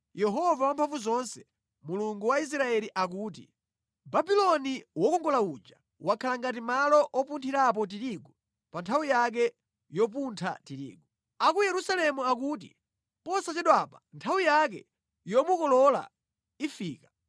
Yehova Wamphamvuzonse, Mulungu wa Israeli akuti, “Babuloni wokongola uja wakhala ngati malo opunthirapo tirigu pa nthawi yake yopuntha tirigu; A ku Yerusalemu akuti, Posachedwapa nthawi yake yomukolola ifika.”